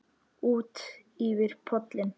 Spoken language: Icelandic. Útyfir pollinn